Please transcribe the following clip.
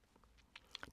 DR1